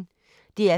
DR P1